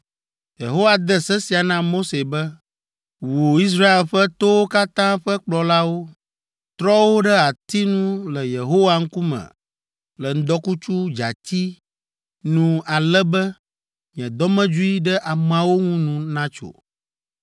Yehowa de se sia na Mose be, “Wu Israel ƒe towo katã ƒe kplɔlawo. Trɔ wo ɖe ati nu le Yehowa ŋkume le ŋdɔkutsu dzati nu ale be nye dɔmedzoe ɖe ameawo ŋu nu natso.”